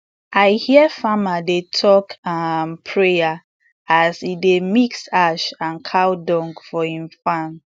i hear farmer dey talk um prayer as um e dey mix ash and cow dung for im farm